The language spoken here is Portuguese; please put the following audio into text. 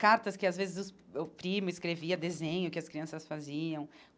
Cartas que, às vezes, os o primo escrevia, desenho que as crianças faziam.